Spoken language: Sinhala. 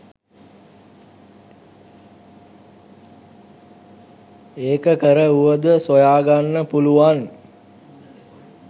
ඒක කර වුවද සොයාගන්න පුළුවන්.